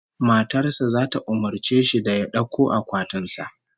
Matar sa zata umurce shi da ya dauko akwatin sa